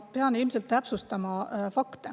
Ma pean ilmselt fakte täpsustama.